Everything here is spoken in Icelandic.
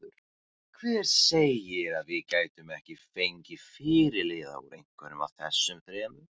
Hver segir að við gætum ekki fengið fyrirliða úr einhverjum af þessum þremur?